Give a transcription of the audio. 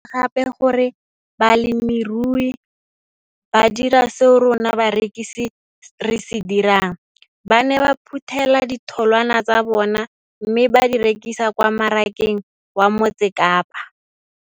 Ke ne ka lemoga gape gore balemirui ba dira seo rona barekisi re se dirang ba ne ba phuthela ditholwana tsa bona mme ba di rekisa kwa marakeng wa Motsekapa.